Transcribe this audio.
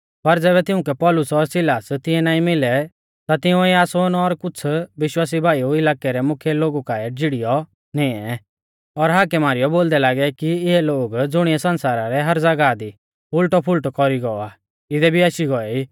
पर ज़ैबै तिउंकै पौलुस और सिलास तिऐ नाईं मिलै ता तिंउऐ यासोन और कुछ़ विश्वासी भाई इलाकै रै मुख्यै लोगु काऐ झिड़ियौ निऐं और हाकै मारीयौ बोलदै लागै कि इऐ लोग ज़ुणिऐ सण्सारा रै हर ज़ागाह दी उल़टौपुल़टौ कौरी गौ आ इदै भी आशी गौऐ ई